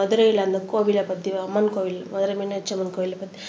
மதுரையில அந்த கோவிலை பத்தி அம்மன் கோவில் மதுரை மீனாட்சி அம்மன் கோயிலை பத்தி